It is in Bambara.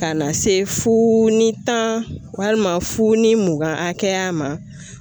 Ka na se fuu ni tan walima fu ni mugan hakɛya ma